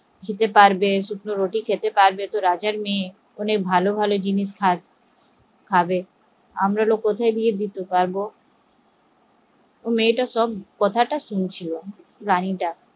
শুকনো রুটি খেতে পারবে? রাজার মেয়ে অনেক ভালো ভালো খাবার খায়, আমরা ওর কোথায় গিয়ে দিতে পারবো মেয়েটা সব কথা শুনছিল, রাণীটা